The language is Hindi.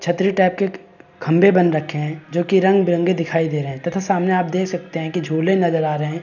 छतरी टाइप के खम्बे बन्न रखे है जो की रंग बिरंगे दिखाई दे रहे है तथा आप देख सकते है कि झूले नज़र आ रहे है।